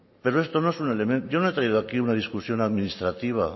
pero esto no es un elemento yo no he traído aquí una discusión administrativa